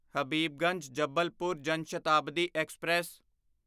Habibganj Jabalpur Jan Shatabdi express